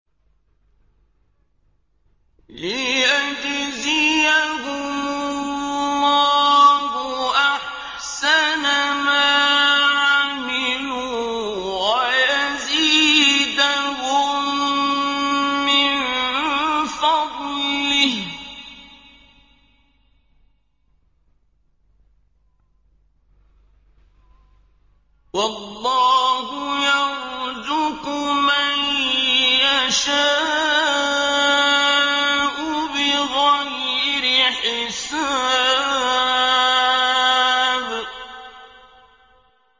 لِيَجْزِيَهُمُ اللَّهُ أَحْسَنَ مَا عَمِلُوا وَيَزِيدَهُم مِّن فَضْلِهِ ۗ وَاللَّهُ يَرْزُقُ مَن يَشَاءُ بِغَيْرِ حِسَابٍ